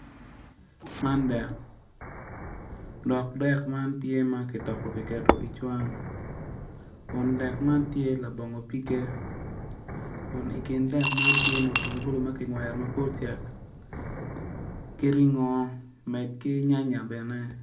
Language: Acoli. Man dek dok dek man tye kitoko kiketo i cwan kun dek man tye labongo pige kun i kin dek man tye mutungulu ma kingwero ma pe ocek ki ringo med ki nyanya bene.